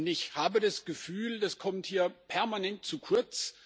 Ich habe das Gefühl, das kommt hier permanent zu kurz.